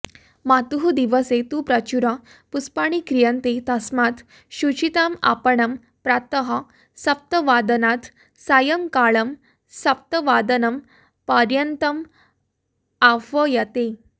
मातुः दिवसे तु प्रचुर पुष्पाणि क्रीयन्ते तस्मात् शुचिताम् आपणम् प्रातः सप्तवादनात् सायंकालम् सप्तवादनं पर्यन्तम् आह्व्यते